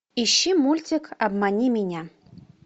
ищи мультик обмани меня